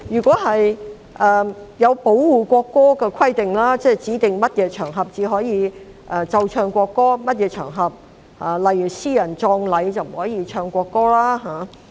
在保護國歌的規定方面，《條例草案》指定在哪些場合才可奏唱國歌，而一些場合——例如私人葬禮——便不能奏唱國歌。